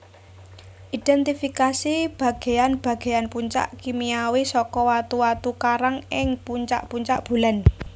Idhèntifikasi bagéan bagéan puncak kimiawi saka watu watu karang ing puncak puncak bulan